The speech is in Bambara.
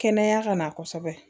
Kɛnɛya ka na kosɛbɛ